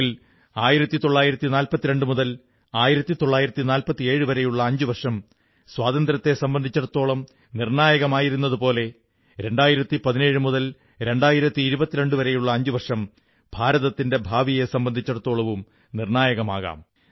എങ്കിൽ 1942 മുതൽ 1947 വരെയുള്ള അഞ്ചുവർഷം സ്വാതന്ത്ര്യത്തെ സംബന്ധിച്ചിടത്തോളം നിർണ്ണായകമായിരുന്നതുപോലെ 2017 മുതൽ 2022 വരെയുള്ള അഞ്ചുവർഷം ഭാരതത്തിന്റെ ഭാവിയെ സംബന്ധിച്ചിടത്തോളവും നിർണ്ണായകമാകാം